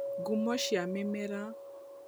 Ngumo cia mĩmera